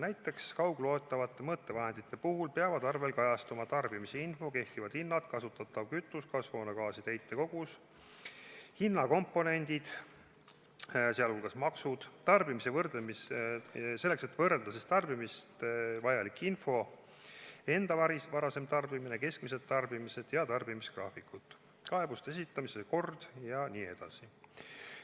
Näiteks, kaugloetavate mõõtevahendite puhul peavad arvel kajastuma tarbimisinfo, kehtivad hinnad, kasutatav kütus, kasvuhoonegaaside heite kogus, hinnakomponendid, sh maksud, vajalik info selleks, et võrrelda tarbimist , kaebuste esitamise kord jne.